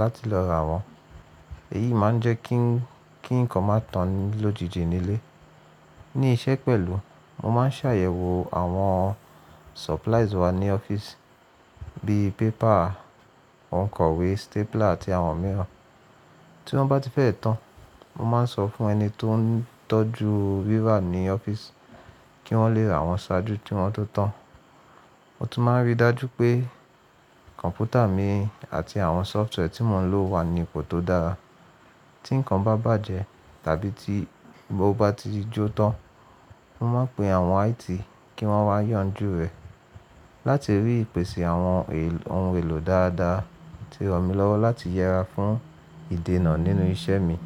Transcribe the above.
láti lọ rà wọ́n. Èyí máa ń jẹ́ kí nǹkan máa tán lójijì nílé. Ní iṣẹ́ pẹ̀lú, mo máa ń ṣàyẹ̀wò àwọn supplies wa ní ọ́fíìsì bí i paper, òǹkọ̀wé, stapler àti àwọn mìíràn. Tí wọ́n bá ti fẹ́ tán, mo máa ń sọ fún ẹni tó ń tọ́jú rírà ní ọ́fíìsì kí wọ́n le ra wọn ṣáájú kí wọ́n tó tán. Mo tún máa ń rí i dájú pé kọ̀m̀pútà mi àti àwọn software tí mò ń lò wà ní ipò tó dára. Tí nǹkan bá bàjẹ́ tàbí tí mo bá ti jó tán, mo máa ń pe àwọn IT kí wọ́n wá yànjú rẹ̀. Láti rí ìpèsè àwọn ohun èlò dáadáa ti ran mí lọ́wọ́ láti yẹra fún ìdènà nínú iṣẹ́ mi.